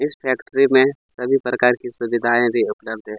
इस फेक्ट्री में सभी प्रकार की सुविधाए भी उपलब्ध है ।